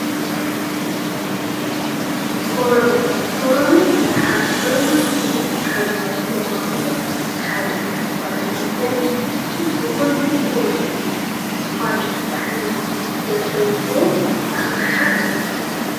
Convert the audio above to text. ኮረመለ - ኮረመለ ኣብ ሱፐርማርኬት ካብ ንርክቦም ኣቁሑት ሓደ እዩ። ኮረመለ ፅቡቁን ምቀሩን ዝኮነ ጣዕሚ ዘለዎ ኣቅሓ እዩ።